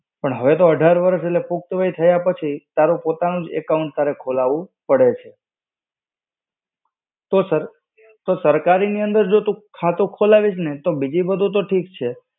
પણ હવે તો અઢાર વર્ષ, એટલે પુખ્ત વય થયા પછી, તારું પોતાનું જ account તારે ખોલવું પડે છે. તો સર, તો સરકારી ની અંદર જો તું ખાતું ખોલાવીશ ને, તો બીજી બધું તો ઠીક છે,